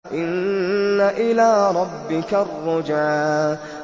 إِنَّ إِلَىٰ رَبِّكَ الرُّجْعَىٰ